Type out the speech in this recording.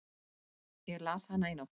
Ég las hana í nótt.